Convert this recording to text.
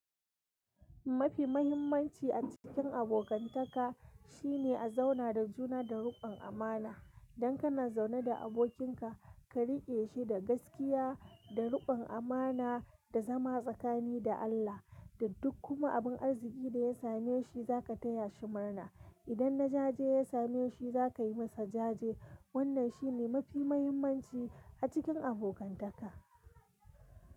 Mafi mahimmanci a cikin abokantaka shine a zauna da juna da ruƙon amana. Dan kana zaune da abokinka ka riƙe shi da gaskiya, da ruƙon amana, da zama tsakani da Allah. Da duk kuma abin arziki da ya same shi za ka taya shi murna. Idan na jaje ya same shi za ka yi masa jaje. Wannan shi ne mafi mahimmanci a cikin abokantaka.